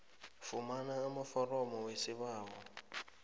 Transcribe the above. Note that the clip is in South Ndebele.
fumana amaforomo wesibawo